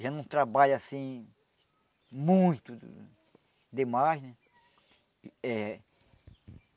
Já não trabalha assim muito demais, né? Eh